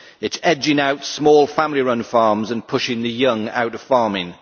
It is edging out small family run farms and pushing the young out of farming.